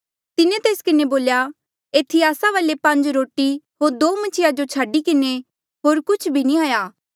तिन्हें तेस किन्हें बोल्या एथी आस्सा वाले पांज रोटी होर दो मछिया जो छाडी किन्हें होर कुछ नी हाया